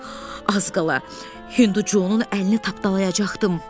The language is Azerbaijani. Hek, az qala Hündü Conun əlini tapdalayacaqdım.